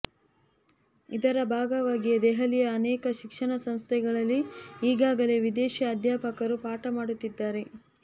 ಇದರ ಭಾಗವಾಗಿಯೇ ದೆಹಲಿಯ ಅನೇಕ ಶಿಕ್ಷಣ ಸಂಸ್ಥೆಗಳಲ್ಲಿ ಈಗಾಗಲೇ ವಿದೇಶೀ ಅಧ್ಯಾಪಕರು ಪಾಠ ಮಾಡುತ್ತಿದ್ದಾರೆ